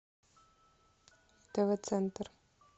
тв центр